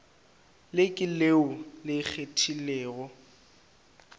le ke leo le kgethegilego